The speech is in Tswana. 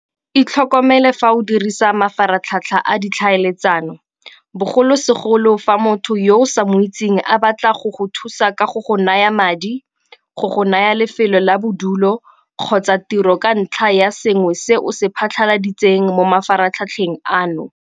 Itlhokomele fa o dirisa mafaratlhatlha a ditlhaeletsano, bogolosegolo fa motho yo o sa mo itseng a batla go go thusa ka go go naya madi, go go naya lefelo la bodulo kgotsa tiro ka ntlha ya sengwe se o se phasaladitseng mo mafaratlhatlheng ano.